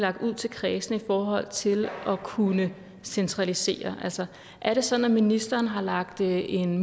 lagt ud til kredsene i forhold til at kunne centralisere altså er det sådan at ministeren har lagt en